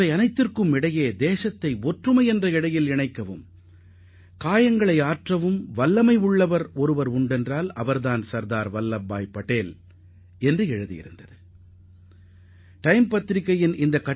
அத்துடன் நாட்டை ஒருங்கிணைக்கவும் மக்கள் மனதில் ஏற்பட்ட காயங்களை குணப்படுத்தவும் சர்தார் வல்லபாய் பட்டேலால்தான் முடியும் என்றும் அந்த பத்திரிகை குறிப்பிட்டிருந்தது